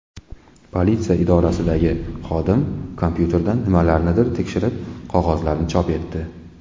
Politsiya idorasidagi xodim kompyuterdan nimalarnidir tekshirib, qog‘ozlarni chop etdi.